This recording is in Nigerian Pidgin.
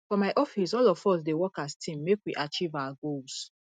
for my office all of us dey work as team make we achieve our goals